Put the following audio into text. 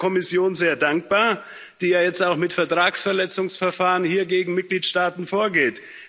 Ich bin der Kommission sehr dankbar, die ja jetzt auch mit Vertragsverletzungsverfahren hier gegen Mitgliedstaaten vorgeht.